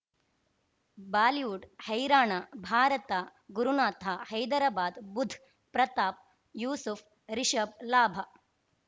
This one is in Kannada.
ಬಾಲಿವುಡ್ ಹೈರಾಣ ಭಾರತ ಗುರುನಾಥ ಹೈದರಾಬಾದ್ ಬುಧ್ ಪ್ರತಾಪ್ ಯೂಸುಫ್ ರಿಷಬ್ ಲಾಭ